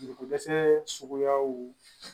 Joliko dɛsɛ suguyaw